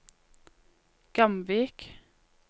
Gamvik